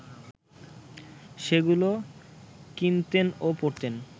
সেগুলো কিনতেন ও পড়তেন